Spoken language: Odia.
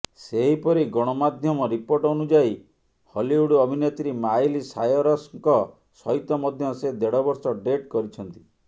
ସେହିପରି ଗଣମାଧ୍ୟମ ରିପୋର୍ଟ ଅନୁଯାୟୀ ହଲିଉଡ୍ ଅଭିନେତ୍ରୀ ମାଇଲି ସାୟରସ୍ଙ୍କ ସହିତ ମଧ୍ୟ ସେ ଦେଢ଼ବର୍ଷ ଡେଟ୍ କରିଛନ୍ତି